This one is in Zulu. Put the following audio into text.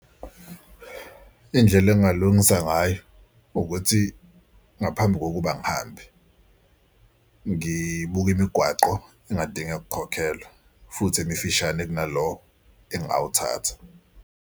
Indlela engingalungisa ngayo ukuthi ngaphambi kokuba ngihambe ngibuke imigwaqo engadinge kukhokhelwa futhi emifishane kunalo engingawuthatha.